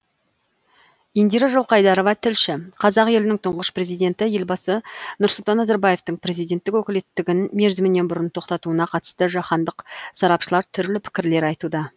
индира жылқайдарова тілші қазақ елінің тұңғыш президенті елбасы нұрсұлтан назарбаевтың президенттік өкілеттігін мерзімінен бұрын тоқтатуына қатысты жаһандық сарапшылар түрлі пікірлер айтуда